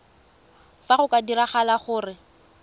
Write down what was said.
fa go ka diragala gore